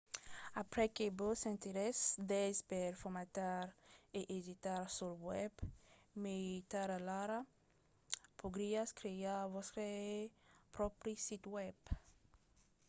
aprèp que vos sentiretz d'aise per formatar e editar sul web mai tard alara podriatz crear vòstre pròpri sit web